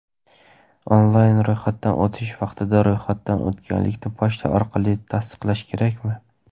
Onlayn ro‘yxatdan o‘tish vaqtida ro‘yxatdan o‘tganlikni pochta orqali tasdiqlash kerakmi?.